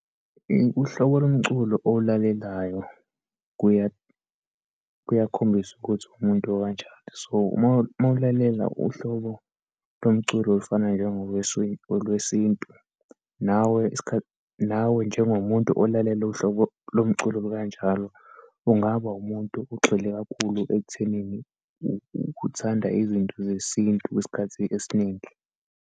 Uhlobo lomculo owulalelayo kuya, kuyakhombisa ukuthi uwumuntu okanjani. So, uma, uma ulalela uhlobo lomculo olufana olwesintu, nawe , nawe njengomuntu olalela uhlobo lomculo okanjalo ungaba umuntu ogxile kakhulu ekuthenini uthanda izinto zesintu kwesikhathi esiningi.